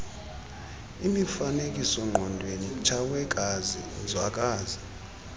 mifanekisoongqondweni tshawekazi nzwakazi